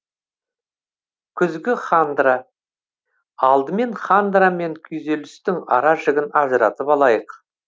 күзгі хандра алдымен хандра мен күйзелістің ара жігін ажыратып алайық